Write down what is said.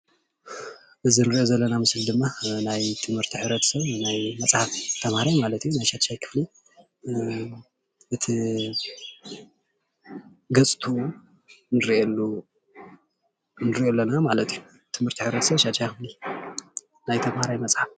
እዚ ንሪኦ ዘለና ምስሊ ድማ ናይ ትምህርቲ ሕብረተሰብ ናይ መፅሓፍ ተምሃራይ ማለት እዩ። ናይ ሻድሻይ ክፍሊ እቲ ገፅትኡ የሪአና ማለት እዩ።